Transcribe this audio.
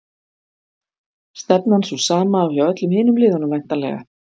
Stefnan sú sama og hjá öllum hinum liðunum væntanlega?